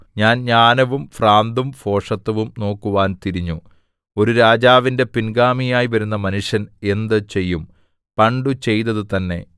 ഞാൻ ജ്ഞാനവും ഭ്രാന്തും ഭോഷത്തവും നോക്കുവാൻ തിരിഞ്ഞു ഒരു രാജാവിന്റെ പിൻഗാമിയായി വരുന്ന മനുഷ്യൻ എന്ത് ചെയ്യും പണ്ടു ചെയ്തതു തന്നെ